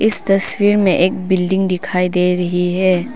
इस तस्वीर में एक बिल्डिंग दिखाई दे रही है।